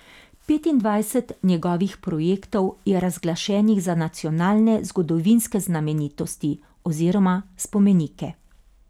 Petindvajset njegovih projektov je razglašenih za nacionalne zgodovinske znamenitosti oziroma spomenike.